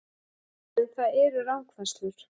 En það eru rangfærslur